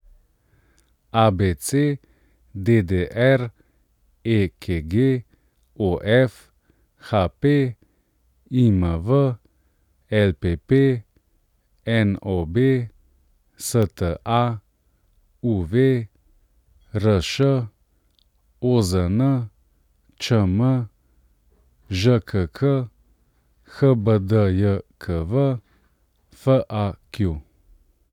ABC, DDR, EKG, OF, HP, IMV, LPP, NOB, STA, UV, RŠ, OZN, ČM, ŽKK, HBDJKV, FAQ.